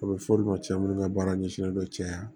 A bɛ fɔ' olu ma cɛ minnu ka baara ɲɛsinnen don cɛya